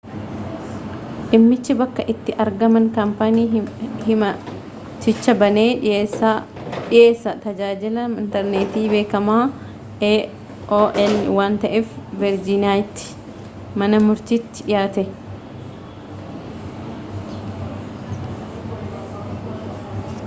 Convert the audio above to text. dhimmichi bakka itti argama kaampaanii himaticha banee dhiyeessaa tajaajila intarneetii beekamaa aol waan ta'eef verjiiniyaatti mana murtiitti dhiyaate